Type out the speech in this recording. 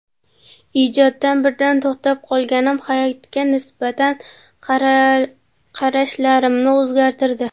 Ijoddan birdan to‘xtab qolganim hayotga nisbatan qarashlarimni o‘zgartirdi.